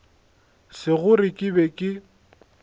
se gore ke be ke